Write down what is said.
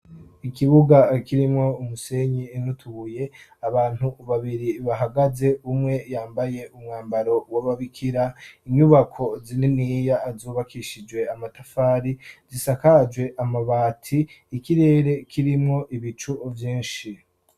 Ikibuga kirimwo umusenyi nutubuye abantu babiri bahagaze umwe yambaye umwambaro wababikira inyubako zininiya azubakishijwe amatafari zisakajwe amabati ikirere kirimwo ibicu vyinshi.